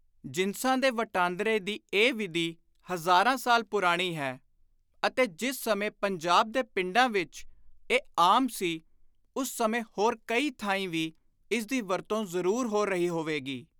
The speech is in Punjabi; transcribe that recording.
ਜਿਨਸਾਂ ਦੇ ਵਟਾਂਦਰੇ ਦੀ ਇਹ ਵਿਧੀ ਹਜ਼ਾਰਾਂ ਸਾਲ ਪੁਰਾਣੀ ਹੈ ਅਤੇ ਜਿਸ ਸਮੇਂ ਪੰਜਾਬ ਦੇ ਪਿੰਡਾਂ ਵਿਚ ਇਹ ਆਮ ਸੀ ਉਸ ਸਮੇਂ ਹੋਰ ਕਈ ਥਾਈਂ ਵੀ ਇਸ ਦੀ ਵਰਤੋਂ ਜ਼ਰੂਰ ਹੋ ਰਹੀ ਹੋਵੇਗੀ।